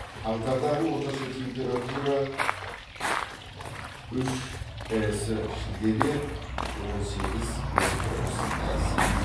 қаңтардағы орташа температура үш әс шілдеде он сегіз он тоғыз әс